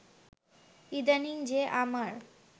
ইদানিং যে আমার